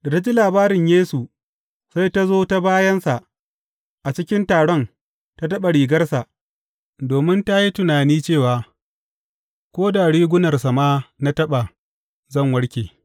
Da ta ji labarin Yesu, sai ta zo ta bayansa, a cikin taron, ta taɓa rigarsa, domin ta yi tunani cewa, Ko da rigunarsa ma na taɓa, zan warke.